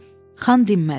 Xan dinmədi.